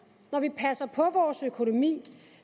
når vi passer på vores økonomi